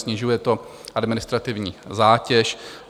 Snižuje to administrativní zátěž.